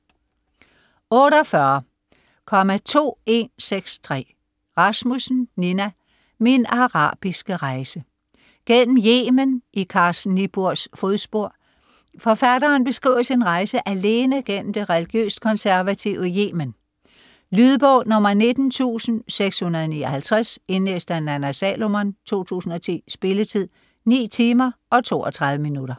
48.2163 Rasmussen, Nina: Min arabiske rejse: gennem Yemen i Carsten Niebuhrs fodspor Forfatteren beskriver sin rejse alene gennem det religiøst konservative Yemen. Lydbog 19659 Indlæst af Nanna Salomon, 2010. Spilletid: 9 timer, 32 minutter.